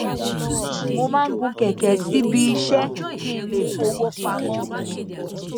mo máa ń gun kẹkẹ síbi iṣẹ kí n lè fọwó pamọ